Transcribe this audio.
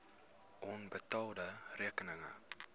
onbetaalde rekeninge